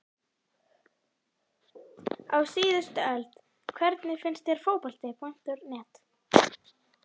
Á síðustu öld Hvernig finnst þér Fótbolti.net?